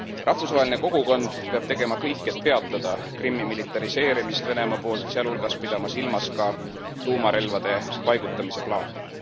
Rahvusvaheline kogukond peab tegema kõik, et peatada Krimmi militariseerimist Venemaa poolt, sealhulgas pidama silmas ka tuumarelvade paigutamise plaani.